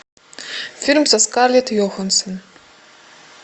фильм со скарлетт йоханссон